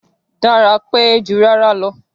Dára pẹ́ jù rárá lọ